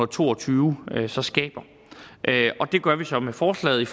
to og tyve så skaber og det gør vi så med forslaget